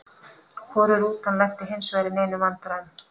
Hvorug rútan lenti hinsvegar í neinum vandræðum.